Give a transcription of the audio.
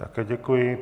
Také děkuji.